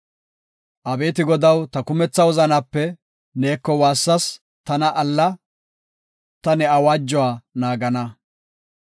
Abeeti Godaw, ta kumetha wozanaape neeko waassas; tana alla; Ta ne awaajuwa naagana.